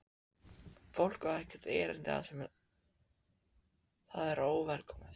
Fólk á ekkert erindi þar sem það er óvelkomið.